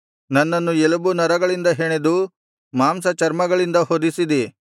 ನನ್ನನ್ನು ಎಲುಬು ನರಗಳಿಂದ ಹೆಣೆದು ಮಾಂಸಚರ್ಮಗಳಿಂದ ಹೊದಿಸಿದಿ